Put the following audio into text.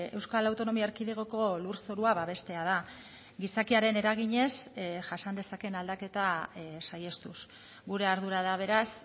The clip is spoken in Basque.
euskal autonomia erkidegoko lurzorua babestea da gizakiaren eraginez jasan dezakeen aldaketa saihestuz gure ardura da beraz